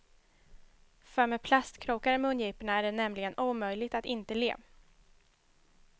För med plastkrokar i mungiporna är det nämligen omöjligt att inte le.